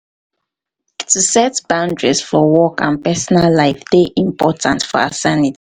to set boundaries for work and um personal life dey important for our sanity.